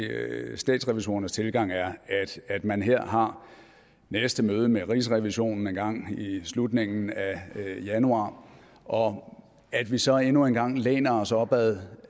statsrevisorernes tilgang er at man her har næste møde med rigsrevisionen engang i slutningen af januar og at vi så endnu en gang læner os op ad